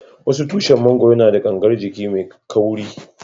Wasu tushin mangoro na da gangar jiki mai kauri.